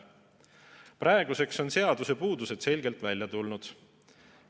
Praeguseks on seaduse puudused selgelt välja tulnud.